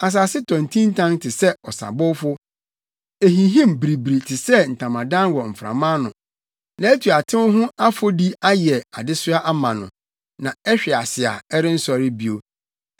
Asase tɔ ntintan te sɛ ɔsabowfo. Ehinhim biribiri te sɛ ntamadan wɔ mframa ano; nʼatuatew ho afɔdi ayɛ adesoa ama no na ɛhwe ase a ɛrensɔre bio.